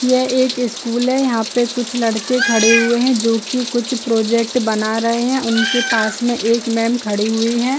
ये एक स्कूल है यहाँ पे कुछ लड़के खड़े हुए है जो की कुछ प्रोजेक्ट बना रहे है उनके पास में एक मेम खड़ी हुई है।